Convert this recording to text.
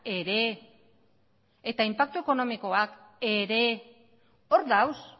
ere eta inpaktu ekonomikoak ere hor daude